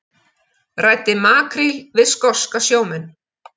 Ræddi makríl við skoska sjómenn